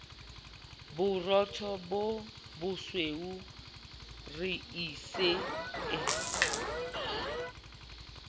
borotho bo bosweu reisi e